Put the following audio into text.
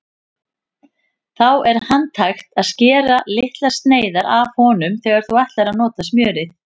Þá er handhægt að skera litlar sneiðar af honum þegar þú ætlar að nota smjörið.